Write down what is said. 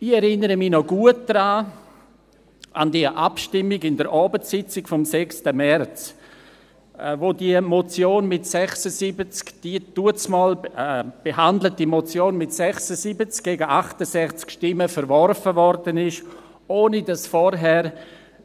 Ich erinnere mich noch gut an die Abstimmung während der Abendsitzung vom 6. März, als die damals behandelte Motion mit 76 gegen 68 Stimmen verworfen wurde, ohne dass zuvor jemand